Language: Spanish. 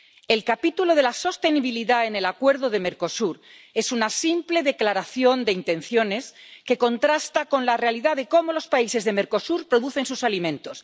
El capítulo de la sostenibilidad en el Acuerdo de Mercosur es una simple declaración de intenciones que contrasta con la realidad de cómo los países de Mercosur producen sus alimentos.